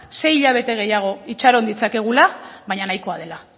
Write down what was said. sei hilabete gehiago itxaron ditzakegula baina nahikoa dela